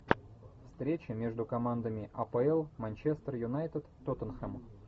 встреча между командами апл манчестер юнайтед тоттенхэм